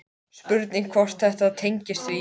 Spurning hvort að þetta tengist því?